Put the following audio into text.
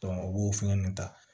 u b'o fɛn ninnu ta